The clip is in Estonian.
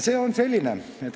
See on selline.